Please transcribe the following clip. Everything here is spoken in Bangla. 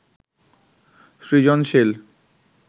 সৃজনশীল